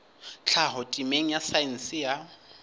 tlhaho temeng ya saense ya